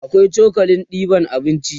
akwai cokalin ɗeban abinci